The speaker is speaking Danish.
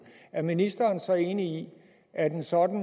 er ministeren så enig i at en sådan